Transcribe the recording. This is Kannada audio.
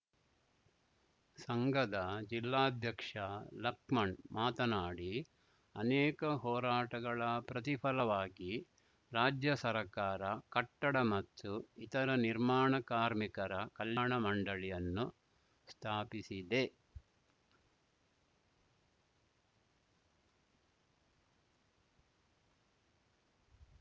ಸಂಗದ ಜಿಲ್ಲಾಧ್ಯಕ್ಷ ಲಕ್ಮಣ್‌ ಮಾತನಾಡಿ ಅನೇಕ ಹೋರಾಟಗಳ ಪ್ರತಿಫಲವಾಗಿ ರಾಜ್ಯ ಸರ್ಕಾರ ಕಟ್ಟಡ ಮತ್ತು ಇತರ ನಿರ್ಮಾಣ ಕಾರ್ಮಿಕರ ಕಲ್ಯಾಣ ಮಂಡಳಿಯನ್ನು ಸ್ಥಾಪಿಸಿದೆ